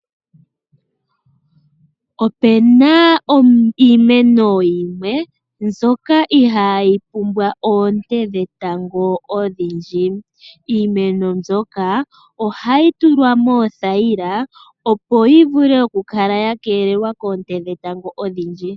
Ope na iimeno yimwe mbyoka ihaa yi pumbwa oonte dhetango odhindji. Iimeno mbyoka ohayi tulwa moothayila opo yi vule oku kala ya keelelwa koonte dhetango odhindji.